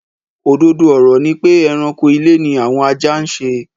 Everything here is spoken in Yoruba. Òdodo ọ̀rọ̀ ni pé ẹranko ilé ni àwọn ajá ń ṣe.